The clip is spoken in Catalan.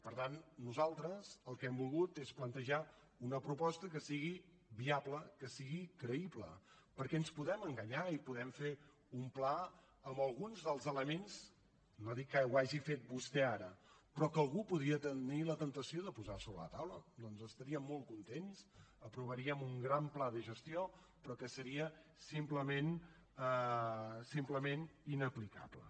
per tant nosaltres el que hem volgut és plantejar una proposta que sigui viable que sigui creïble perquè ens podem enganyar i podem fer un pla amb alguns dels elements no dic que ho hagi fet vostè ara però que algú podria tenir la temptació de posar sobre la taula doncs estaríem molt contents aprovaríem un gran pla de gestió però que seria simplement inaplicable